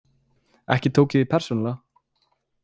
Ekki tók ég því persónulega.